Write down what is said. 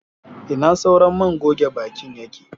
Ina sauran man goge bakin yake.?.